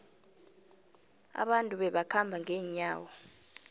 abantu babekhamba ngenyawo